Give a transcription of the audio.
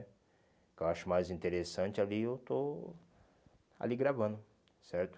O que eu acho mais interessante ali eu estou ali gravando, certo?